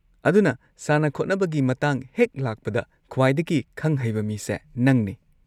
ꯑꯗꯨꯅ ꯁꯥꯟꯅ-ꯈꯣꯠꯅꯕꯒꯤ ꯃꯇꯥꯡ ꯍꯦꯛ ꯂꯥꯛꯄꯗ, ꯈ꯭ꯋꯥꯏꯗꯒꯤ ꯈꯪ-ꯍꯩꯕ ꯃꯤꯁꯦ ꯅꯪꯅꯦ꯫